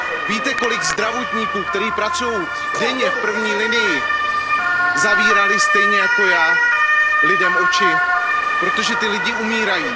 Víte, kolik zdravotníků, kteří pracují denně v první linii, zavírali stejně jako já lidem oči, protože ti lidé umírají?